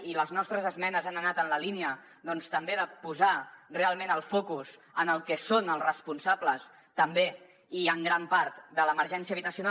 i les nostres esmenes han anat en la línia també de posar realment el focus en el que són els responsables també i en gran part de l’emergència habitacional